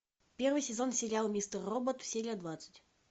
первый сезон сериал мистер робот серия двадцать